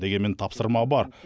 дегенмен тапсырма бар